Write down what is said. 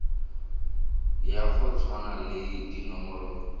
ya go tshwana le dinomoro